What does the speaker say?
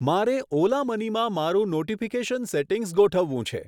મારે Ola Money માં મારું નોટીફીકેશન સેટિંગ્સ ગોઠવવું છે.